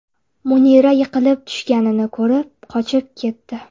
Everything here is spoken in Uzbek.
Munira yiqilib tushganini ko‘rib, qochib ketdi.